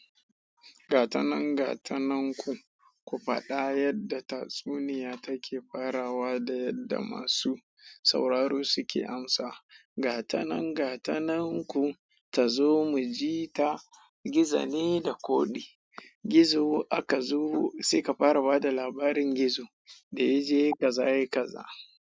Gatanan gatanan ku, ku faɗa yadda tatsuniya take farawa da yadda masu sauraro suke amsa. Gatanan gatanan ku ta zo mu ji ta. Gizo ne da ƙodi. Gizo aka zubo sai ka farawa da labarin gizo da ya je kaza yai kaza.